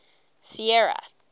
sierra